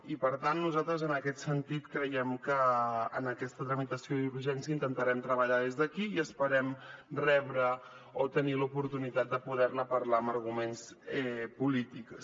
i per tant nosaltres en aquest sentit creiem que en aquesta tramitació d’urgència intentarem treballar des d’aquí i esperem rebre o tenir la oportunitat de poder ne parlar amb arguments polítics